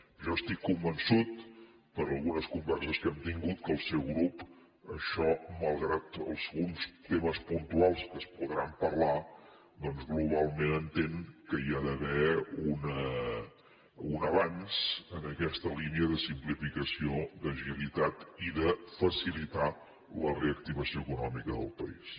jo estic convençut per algunes converses que hem tingut que el seu grup això malgrat alguns temes pun tuals que es podran parlar doncs globalment entén que hi ha d’haver un abans en aquesta línia de simplificació d’agilitat i de facilitar la reactivació econòmica del país